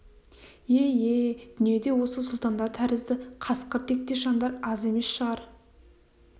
ие ие дүниеде осы сұлтандар тәрізді қасқыр тектес жандар аз емес шығар